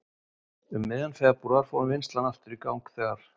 Um miðjan febrúar fór vinnslan aftur í gang þegar